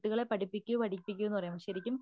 പഠിപ്പിക്കൂ പഠിപ്പിക്കൂ എന്ന് പറയും ശരിക്കും